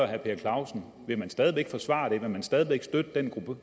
herre per clausen vil man stadig væk forsvare det vil man stadig væk støtte den